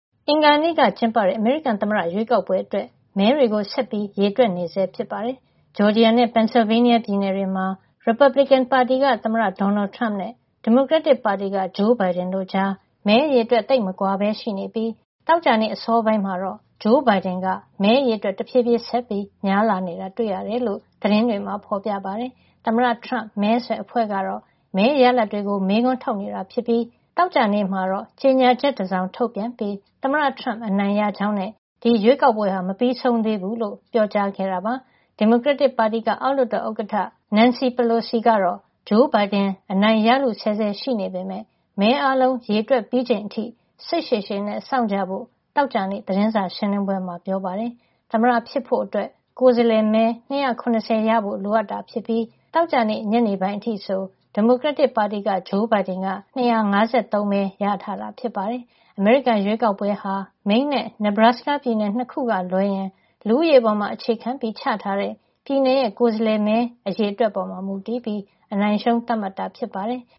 အင်္ဂါနေ့က ကျင်းပတဲ့ အမေရိကန်ရွေးကောက်ပွဲ အတွက် မဲတွေကို သောကြာနေ့ အထိ ဆက်လက်ရေတွက်နေဆဲ ဖြစ်ပါတယ်။ ဂျော်ဂျီယာနဲ့ Pennsylvania ပြည်နယ်တွေမှာ ရီပတ်ဘလစ်ကင်ပါတီ သမ္မတထရမ့်နဲ့ ဒီမိုကရက်တစ်ပါတီက ဂျိုးဘိုင်ဒင်တို့ကြား မဲအရေအတွက် သိပ်မကွာပဲ ရှိနေပြီး သောကြာနှေ့ အစောပိုင်းတော့ ဂျိုးဘိုင်ဒင်က မဲအရေအတွက် တဖြေးဖြေးဆက်ပြီး များလာနေတာ တွေ့ရတယ်လို့ သတင်းတွေမှာ ဖေါ်ပြပါတယ်။ သမ္မတထရမ့် မဲဆွယ်အဖွဲ့ကတော့ မဲရလဒ် တွေကို မေးခွန်းထုတ်နေတာ ဖြစ်ပြီး သောကြာနေ့မှာတော့ ကြေညာချက် တစောင် ထုတ်ပြန်ပြီး သမ္မတထရမ့်အနိုင်ရကြောင်းနဲ့ ဒီရွေးကောက်ပွဲဟာ မပြီးဆုံး သေးဘူးလို့ ပြောကြားခဲ့တာပါ။ ဒီမိုကရက်တစ်ပါတီက အောက်လွှတ်တော် ဥက္ကဌ Nancy Pelosi က တော့ ဂျိုးဘိုင်ဒင် အနိုင်ရလု ဆဲဆဲ ရှိနေ ပေမဲ့ မဲအားလုံး ရေတွက်ပြီးချိန်အထိ စိတ်ရှည်ရှည်နဲ့ စောင့်ကြဖို့ သောကြာနေ့ သတင်းစာရှင်းလင်းပွဲမှာ ပြောပါတယ်။ သမ္မတဖြစ်ဖို့အတွက် ကိုယ်စားလှယ်မဲ ၂၇၀ ရဖို့ လိုအပ်တာဖြစ်ပြီး သောကြာနေ့ ညနေပိုင်းအထိဆို ဒီမိုကရက်တစ်ပါတီက ဂျိုးဘိုင်ဒင်က ၂၅၃ မဲ ရထား တာဖြစ်ပါတယ်။ အမေရိကန်ရွေးကောက်ပွဲဟာ Maine နဲ့ Nebraska ပြည်နယ် ၂ ခုကလွဲရင် လူဦးရေပေါ် အခြေခံပြီး ချထားတဲ့ ပြည်နယ်ရဲ့ ကိုယ်စားလှယ်မဲ အရေအတွက် ပေါ်မူတည်ပြီး အနိုင်အရှုံး သတ်မှတ်တာ ဖြစ်ပါတယ်။